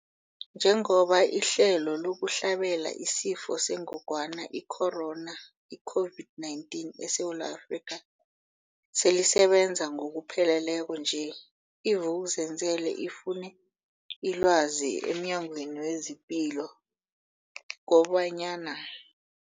Njengoba ihlelo lokuhlabela isiFo sengogwana i-Corona, i-COVID-19, eSewula Afrika selisebenza ngokupheleleko nje, i-Vuk'uzenzele ifune ilwazi emNyangweni wezePilo kobanyana.